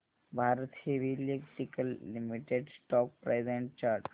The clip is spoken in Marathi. Bharat heavy electricals limited stock price and chart